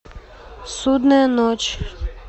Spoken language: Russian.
судная ночь